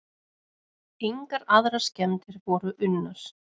Engar aðrar skemmdir voru unnar.